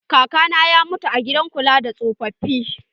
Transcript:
Kaka na ya mutu a gidan kula da tsofafi.